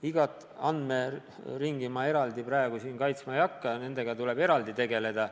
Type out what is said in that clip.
Igat andmeringi ma eraldi praegu siin kaitsma ei hakka, nendega tuleb eraldi tegeleda.